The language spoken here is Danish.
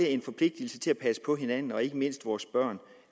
en forpligtelse til at passe på hinanden og ikke mindst vores børn